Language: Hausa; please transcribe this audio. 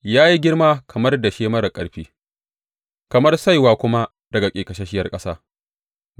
Ya yi girma kamar dashe marar ƙarfi, kamar saiwa kuma daga ƙeƙasasshiyar ƙasa.